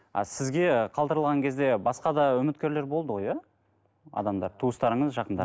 а сізге қалдырылған кезде басқа да үміткерлер болды ғой иә адамдар туыстарыңыз жақындар